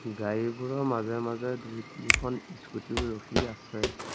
গাড়ীবোৰৰ মাজে মাজে দুই-তিনিখন স্কুটী ও ৰখি আছে।